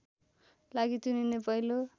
लागि चुनिने पहिलो